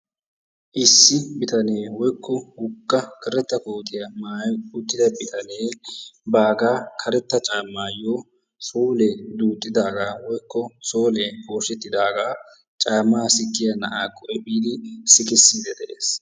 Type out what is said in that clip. issi bitanee woykko woga karetta koottiya maayi uttida bitanne baaga karetta caamayo soole duuxidaagaa woykko solee pooshetidaaga caamaa sikkiya na"aakko efiidi sikisiidi de'ees.